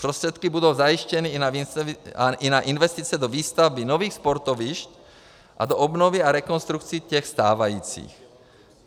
Prostředky budou zajištěny i na investice do výstavby nových sportovišť a do obnovy a rekonstrukce těch stávajících.